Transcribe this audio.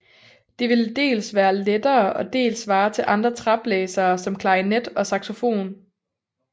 Det ville dels være lettere og dels svare til andre træblæsere som klarinet og saxofon